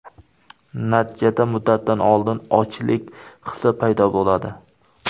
Natijada muddatidan oldin ochlik hisi paydo bo‘ladi.